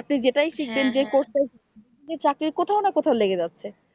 আপনি যেটাই শিখবেন যে course টা শিখবেন দেখবেন যে চাকরির কোথাও না কোথাও লেগে যাচ্ছে।